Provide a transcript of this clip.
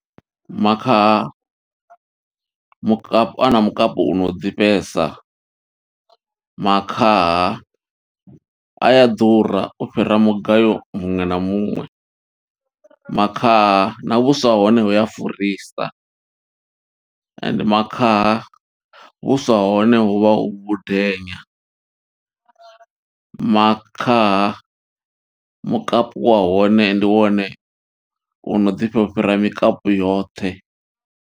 Makhaha, mukapu ana mukapu u no ḓifhesa. Makhaha a ya ḓura u fhira mugayo muṅwe na muṅwe, makhaha na vhuswa ha hone huya furisa, ende makhaha vhuswa ha hone hu vha hu vhundenya. Makhaha, mukapu wa hone ndi wone u no ḓifha, u fhira mikapu yoṱhe.